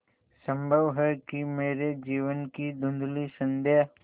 संभव है कि मेरे जीवन की धँुधली संध्या